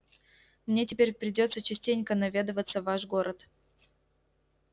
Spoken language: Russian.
мне теперь придётся частенько наведываться в ваш город